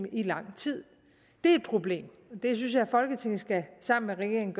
i lang tid det er et problem det synes jeg folketinget sammen med regeringen